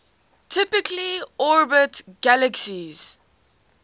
typically orbit galaxies